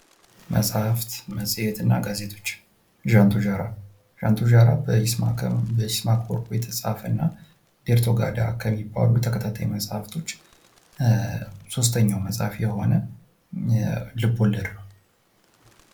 መጽሐፍት መጽሄትና ጋዜጦች ዣንቶዣራ ፦ ዣንቶዣራ በኢስመአከ ወርቁ የተፃፈ እና ኤርቶክጋዳ ከሚባሉ ተከታታይ መጽሃፍቶች ሶስተኛው መፅሐፍ የሆነ ልቦለድ ነው።